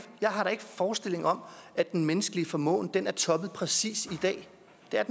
forestilling om at den menneskelige formåen har toppet præcis i dag